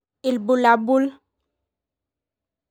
Ibulabul